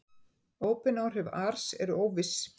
Óbein áhrif ars eru óviss.